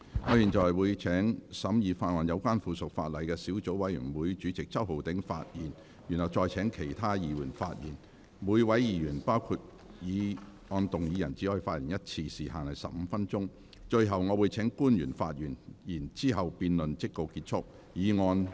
我會請審議有關附屬法例的小組委員會主席周浩鼎議員發言，再請其他議員發言。每位議員只可發言一次，時限為15分鐘。最後我會請官員發言，之後辯論即告結束，議案不會付諸表決。